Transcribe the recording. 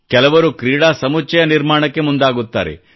ಕೆಲವರು ಕ್ರೀಡಾ ಸಮುಚ್ಚಯ ನಿರ್ಮಾಣಕ್ಕೆ ಮುಂದಾಗುತ್ತಾರೆ